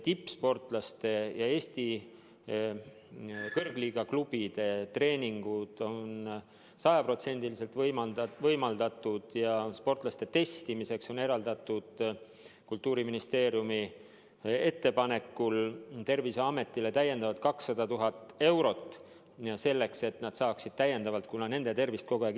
Tippsportlaste ja Eesti kõrgliiga klubide treeningud on sajaprotsendiliselt võimaldatud ja sportlaste testimiseks on eraldatud Kultuuriministeeriumi ettepanekul Terviseametile täiendavalt 200 000 eurot selleks, et nad saaksid vajaduse korral teste täiendavalt teha.